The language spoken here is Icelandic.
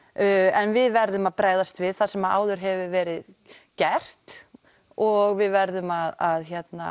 en við verðum að bregðast við það sem áður hefur verið gert og við verðum að